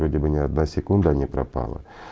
вроде бы не одна секунда не пропала